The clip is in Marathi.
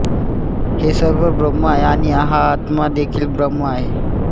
हे सर्व ब्रह्म आहे आणि हा आत्मा देखील ब्रह्म आहे